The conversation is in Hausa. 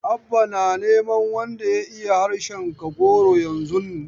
Abba na neman wanda ya iya harshen Kagoro yanzun.